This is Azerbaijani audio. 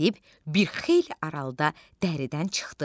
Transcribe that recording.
Gedib bir xeyli aralıda dəridən çıxdı.